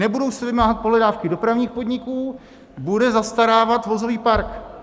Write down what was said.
Nebudou se vymáhat pohledávky dopravních podniků - bude zastarávat vozový park.